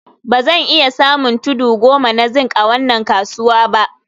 Ba zan iya samun tudu goma na zinc a wannan kasuwa ba